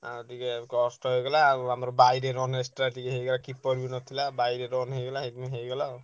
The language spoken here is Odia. ହାଁ ଟିକେ କଷ୍ଟ ହେଇଗଲା ଆଉ ଆମର ବାଇରେ run extra ଟିକେ ହେଇଗଲା। keeper ବି ନଥିଲା ବାଇରେ run ହେଇଗଲା ସେଇଥିପାଇଁ ହେଇଗଲା ଆଉ।